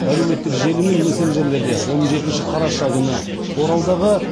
әлеуметтік желі мен мессенджерлерде он жетінші қараша күні оралдағы